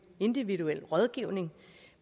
individuel rådgivning